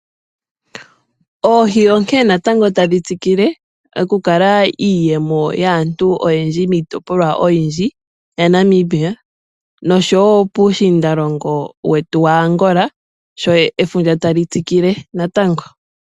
Oohi onkee natango tadhi tsikile okukala iiyemo yaantu oyendji miitopolwa oyindji yaNamibia noshowo puushindalongo wetu waAngola sho efundja ta li tsikile natango.